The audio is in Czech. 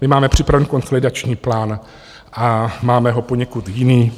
My máme připraven konsolidační plán a máme ho poněkud jiný.